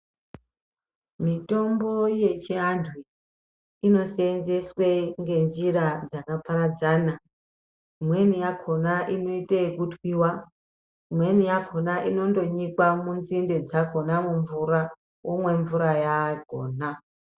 Mitombo yechiantu ,inoseenzeswe ngenjira dzakaparadzana. Imweni yakhona inoite ekutwiwa, imweni yakhona inondonyikwa munzinde dzakhona mumvura, womwe mvura yaakhona.